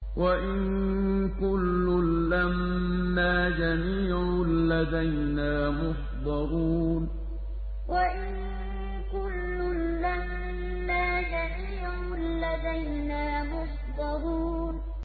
وَإِن كُلٌّ لَّمَّا جَمِيعٌ لَّدَيْنَا مُحْضَرُونَ وَإِن كُلٌّ لَّمَّا جَمِيعٌ لَّدَيْنَا مُحْضَرُونَ